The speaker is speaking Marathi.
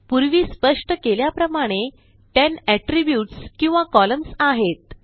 पूर्वी स्पष्ट केल्याप्रमाणे 10 एट्रिब्यूट्स किंवा कॉलम्न्स आहेत